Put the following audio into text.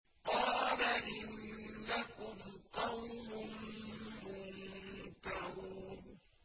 قَالَ إِنَّكُمْ قَوْمٌ مُّنكَرُونَ